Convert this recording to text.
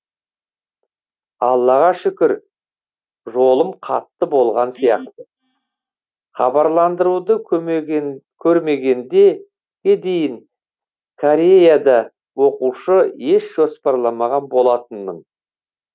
аллаға шүкір жолым қатты болған сияқты хабарландыруды көрмегендеге дейін кореяда оқушы еш жоспарламаған болатынмын